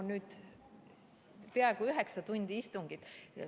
No nüüd on olnud peaaegu üheksa tundi istungit.